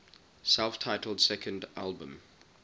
self titled second album